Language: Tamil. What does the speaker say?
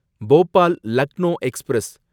போபால் லக்னோ எக்ஸ்பிரஸ்